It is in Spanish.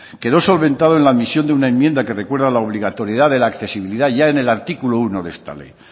quedó solventado en la misión de una enmienda que recuerda la obligatoriedad de la accesibilidad ya en el artículo uno de esta ley